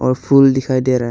और फूल दिखाई दे रहा है।